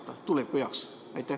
Ütlen seda tulevikku silmas pidades.